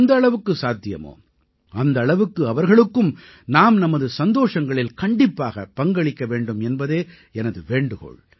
எந்த அளவுக்கு சாத்தியமோ அந்த அளவுக்கு அவர்களுக்கும் நாம் நமது சந்தோஷங்களில் கண்டிப்பாகப் பங்களிக்க வேண்டும் என்பதே எனது வேண்டுகோள்